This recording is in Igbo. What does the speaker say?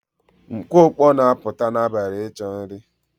Mkpụkpọ na-apụta n'abalị ịchọ nri